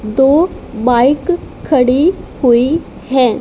दो बाइक खड़ी हुई है।